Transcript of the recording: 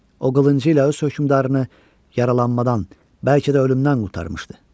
O qılıncı ilə öz hökmdarını yaralanmadan, bəlkə də ölümdən qurtarmışdı.